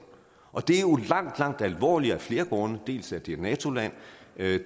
og det er jo langt langt alvorligere af flere grunde dels er det et nato land